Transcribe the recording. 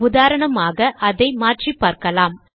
உதாரணமாக அதை மாற்றிப் பார்க்கலாம்